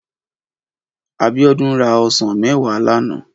Abiodun rá òsán mèwá làná